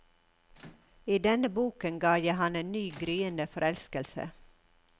I denne boken ga jeg ham en ny, gryende forelskelse.